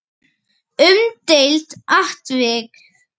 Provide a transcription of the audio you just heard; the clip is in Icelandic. Umdeilt atvik?